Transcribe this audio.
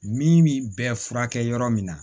Min bɛ furakɛ yɔrɔ min na